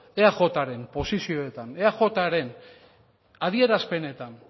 eajren posizioetan eajren adierazpenetan